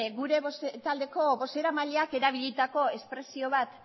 gure taldeko bozeramailak erabilitako espresio bat